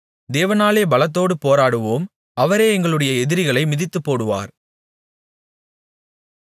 தேவனாலே பலத்தோடு போராடுவோம் அவரே எங்களுடைய எதிரிகளை மிதித்துப்போடுவார்